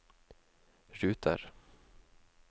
ruter